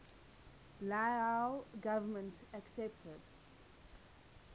lao government accepted